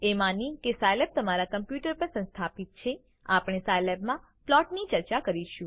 એ માની કે સાયલેબ તમારા કોમ્પ્યુટર પર સંસ્થાપિત છે આપણે સાયલેબમાં પ્લોટની ચર્ચા કરીશું